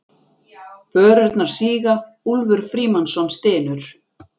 Börurnar síga, Úlfur Frímannsson stynur.